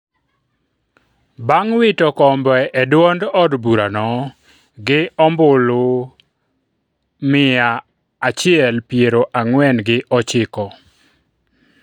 bang' wito kombe e duond od burano gi ombulu gima achiel piero ang'wen gi ochiko